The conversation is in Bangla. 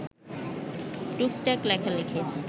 টুকটাক লেখালেখির